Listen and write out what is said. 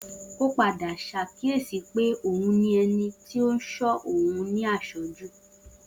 O padà ṣàkíyèsí pé òun ní ẹni tí ń ṣọ́ òun ní àṣọ́jù